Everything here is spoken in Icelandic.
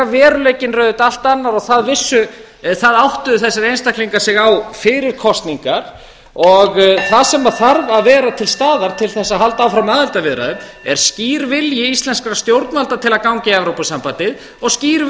veruleikinn er auðvitað allt annað og því áttuðu þessir einstaklingar á fyrir kosningar og það sem þarf að vera til staðar til að halda fram aðildarviðræðum er skýr vilji íslenskra stjórnvalda til að ganga í evrópusambandið og skýr